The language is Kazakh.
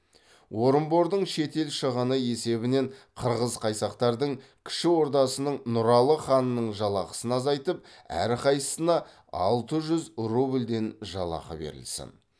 орынбордың шет ел шығыны есебінен қырғыз қайсақтардың кіші ордасының нұралы ханының жалақысын азайтып әрқайсысына алты жүз рубльден жалақы берілсін